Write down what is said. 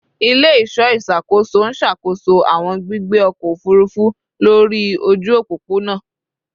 Ile-iṣọ iṣakoso n ṣakoso awọn gbigbe ọkọ ofurufu lori oju opopona